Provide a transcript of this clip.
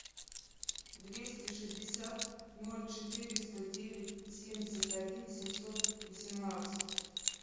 двести шестьдесят ноль четыреста девять семьдесят один семьсот восемнадцать